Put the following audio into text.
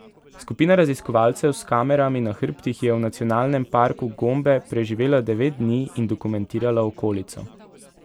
Skupina raziskovalcev s kamerami na hrbtih je v nacionalnem parku Gombe preživela devet dni in dokumentirala okolico.